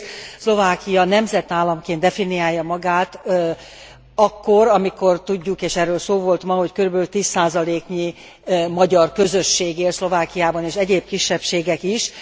Egyrészt Szlovákia nemzetállamként definiálja magát akkor, amikor tudjuk és erről szó volt ma hogy körülbelül 10 százaléknyi magyar közösség él Szlovákiában és egyéb kisebbségek is.